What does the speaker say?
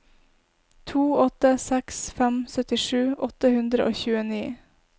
to åtte seks fem syttisju åtte hundre og tjueni